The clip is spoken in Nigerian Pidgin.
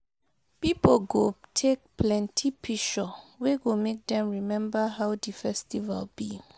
Pipo go take plenti picshur wey go mek dem remmba how di festival bi